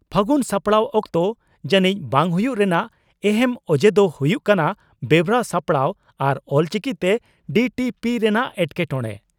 ᱯᱷᱟᱹᱜᱩᱱ ᱥᱟᱯᱲᱟᱣ ᱚᱠᱛᱚ ᱡᱟᱹᱱᱤᱡ ᱵᱟᱝ ᱦᱩᱭᱩᱜ ᱨᱮᱱᱟᱜ ᱮᱦᱮᱢ ᱚᱡᱮ ᱫᱚ ᱦᱩᱭᱩᱜ ᱠᱟᱱᱟ ᱵᱮᱣᱨᱟ ᱥᱟᱯᱲᱟᱣ ᱟᱨ ᱚᱞᱪᱤᱠᱤᱛᱮ ᱰᱤᱴᱤᱯᱤ ᱨᱮᱱᱟᱜ ᱮᱴᱠᱮᱴᱚᱬᱮ ᱾